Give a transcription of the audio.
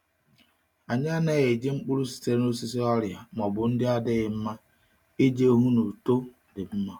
Anyị anaghị eji mkpụrụ sitere n’osisi ọrịa ma ọ bụ ndị adịghị eto iji hụ na uto dị mma.